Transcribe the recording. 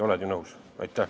Oled ju nõus?